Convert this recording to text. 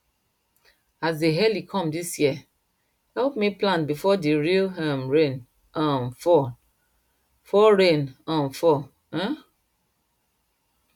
as dey early come dis year help me plant before the real um rain um fall rain um fall um